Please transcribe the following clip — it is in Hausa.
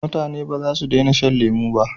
mutane ba za su dena shan lemo ba